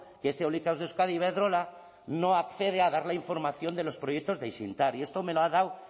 que es eólicas de euskadi iberdrola no accede a dar la información de los proyectos de haizeindar y esto me lo ha dado